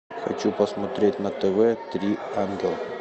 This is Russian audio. хочу посмотреть на тв три ангела